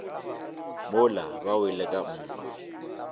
mola ba wele ka mpa